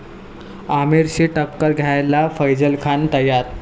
आमिरशी टक्कर घ्यायला फैझल खान तयार